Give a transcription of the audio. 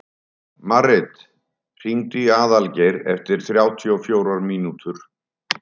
Marit, hringdu í Aðalgeir eftir þrjátíu og fjórar mínútur.